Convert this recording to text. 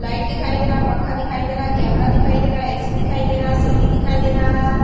light दिखाइ दे रहा है पंखा दिखाइ दे रहा है कैमरा दिखाइ दे रहा है ए_सी दिखाइ दे रहा है सीढी दिखाइ दे रहा--